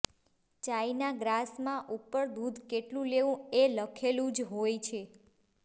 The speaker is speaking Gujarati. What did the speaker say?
ચાઇના ગ્રાસ માં ઉપર દૂધ કેટલું લેવું એ લખેલું જ હોય છે